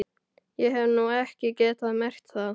Ég hef nú ekki getað merkt það.